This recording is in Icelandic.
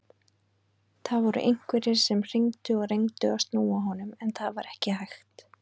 Það voru einhverjir sem hringdu og reyndu að snúa honum en það var ekki hægt.